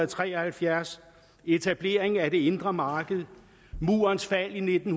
tre og halvfjerds etableringen af det indre marked murens fald i nitten